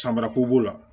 Samara ko b'o la